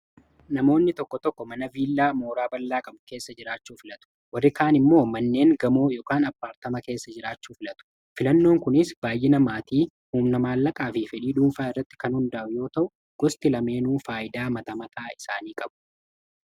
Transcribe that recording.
namoonni tokko tokko mana viillaa mooraa ballaa qamu keessa jiraachuu filatu warri kaan immoo manneen gamoo yk apaatama keessa jiraachuu filatu filannoon kunis baay'ina maatii humna-maallaqaa fi fedhii duunfaa irratti kan hundaa yoo ta'u gosti lameenuu faayidaa maxamataa isaanii qabu